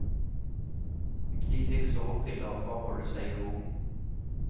De fikk sovepiller for å holde seg i ro.